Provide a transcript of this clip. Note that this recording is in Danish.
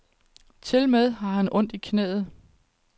Tilmed har han ondt i knæet.